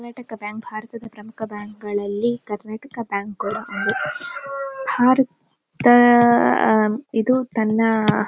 Karnataka bank ಭಾರತದ ಪ್ರಮುಖ bank ಗಳಲ್ಲಿ ಕರ್ನಾಟಕ ಬ್ಯಾಂಕ್ ಕೂಡ ಹೌದು ಹಾರುತ್ತ ಇದು ತನ್ನ--